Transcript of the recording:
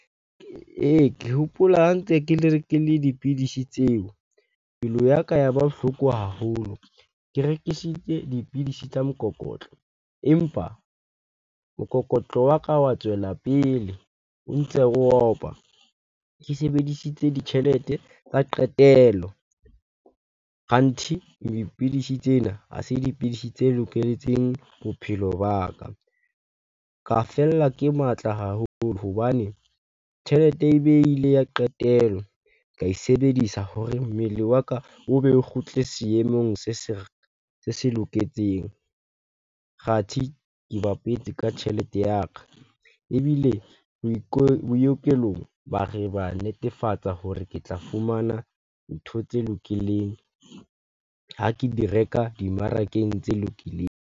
Ee, ke hopola ha ntse dipidisi tseo. Pelo ya ka ya ba bohloko haholo. Ke rekisitse dipidisi tsa mokokotlo, empa mokokotlo wa ka wa tswela pele o ntse o opa. Ke sebedisitse ditjhelete ka qetelo, kganthi dipidisi tsena, ha se dipidisi tse loketseng bophelo ba ka. Ka fella ke matla haholo hobane tjhelete ebe e ile ya qetelo, ka e sebedisa hore mmele wa ka obe o kgutle seemong se se loketseng, kgathi ke bapetse ka tjhelete ya ka. Ebile bookelong ba re ba netefatsa hore ke tla fumana ntho tse lokileng ha ke di reka dimmarakeng tse lokileng.